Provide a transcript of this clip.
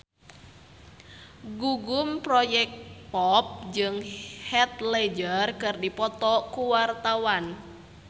Gugum Project Pop jeung Heath Ledger keur dipoto ku wartawan